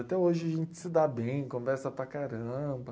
Até hoje a gente se dá bem, conversa para caramba.